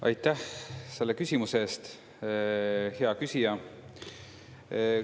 Aitäh selle küsimuse eest, hea küsija!